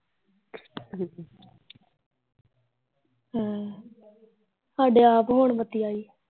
ਹਮ ਸਾਡੇ ਆਪ ਹੁਣ ਬੱਤੀ ਆਈ